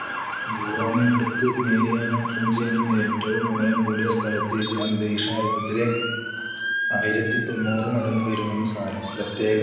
ഗുവാമിനടുത്ത് Mariana Trench എന്ന ഏറ്റവും ആഴം കൂടിയ സ്ഥലത്ത് ഇത് അന്തരീക്ഷമർദ്ദത്തിലെ ആയിരത്തി തൊണ്ണൂറു മടങ്ങ് വരുമെന്ന് സാരം. പ്രത്യേക